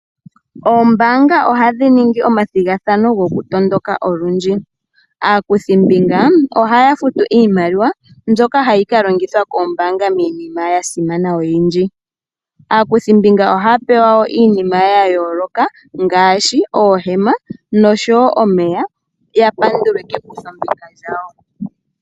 Ombaanga ohadhi ningi omathigathano gokutondoka olundji. Aakuthimbinga ohaya futu iimaliwa mbyoka hayi ka longithwa kombaanga miinima yasimana oyindji . Aakuthimbinga ohaya pewa wo iinima yayooloka ngaashi oohema nosho wo omeya ya pandulwe kekuthombinga lyawo.